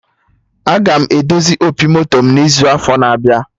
Aga m edozi opi moto mụ n'izu n'afọ na-abịa